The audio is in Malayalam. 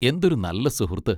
എന്തൊരു നല്ല സുഹൃത്ത്!